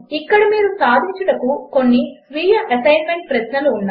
ఇక్కడ మీరు సాధించుటకు కొన్ని స్వీయ అసెస్మెంట్ ప్రశ్నలు ఉన్నాయి